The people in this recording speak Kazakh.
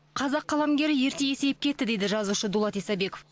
қазақ қаламгері ерте есейіп кетті дейді жазушы дулат исабеков